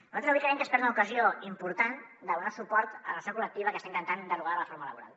nosaltres avui creiem que es perd una ocasió important de donar suport a la negociació col·lectiva que està intentant derogar la reforma laboral